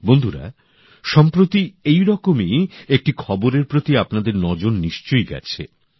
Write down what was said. বন্ধুরা সম্প্রতি এইরকমই একটি খবরের প্রতি আপনাদের নজর নিশ্চয়ই গেছে